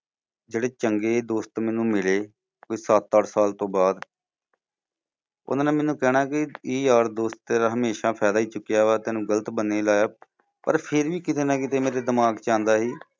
ਜਿਹੜੇ ਚੰਗੇ ਦੋਸਤ ਮੈਨੂੰ ਮਿਲੇ, ਕੁਝ ਸੱਤ ਅੱਠ ਸਾਲ ਤੋਂ ਬਾਅਦ ਉਨ੍ਹਾਂ ਨੇ ਮੈਨੂੰ ਕਹਿਣਾ ਕਿ ਯਾਰ ਦੋਸਤ ਤੇਰਾ ਹਮੇਸ਼ਾ ਫਾਇਦਾ ਹੀ ਚੁੱਕਿਆ ਵਾ। ਤੈਨੂੰ ਗ਼ਲਤ ਬੰਨ੍ਹੇ ਲਾਇਆ ਪਰ ਫੇਰ ਵੀ ਕੀਤੇ ਨਾ ਕੀਤੇ ਮੇਰੇ ਦਿਮਾਗ ਚ ਆਉਂਦਾ ਸੀ